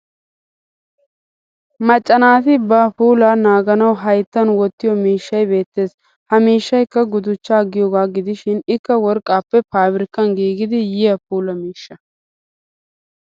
Macca naati ba puulaa naaganawu hayittan wottiyo miishshay beettes. Ha miishshayikka guduchchaa giyoogaa gidishin ikka worqqaappe faabirikkan giigidi yiya puula miishsha.